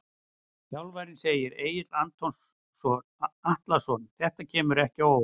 Þjálfarinn segir- Egill Atlason Þetta kemur ekki á óvart.